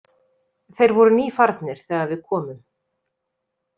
Þeir voru nýfarnir þegar við komum.